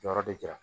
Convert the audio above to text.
Jɔyɔrɔ de jara